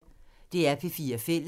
DR P4 Fælles